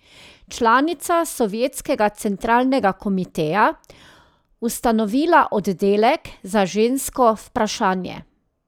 Članica sovjetskega Centralnega komiteja, ustanovila oddelek za žensko vprašanje.